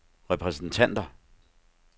repræsentanter